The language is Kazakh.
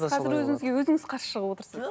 қазір өзіңізге өзіңіз қарсы шығып отырсыз